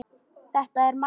Þetta er Maggi!